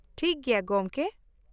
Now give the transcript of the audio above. ᱴᱷᱤᱠ ᱜᱮᱭᱟ ᱜᱚᱝᱠᱮ ᱾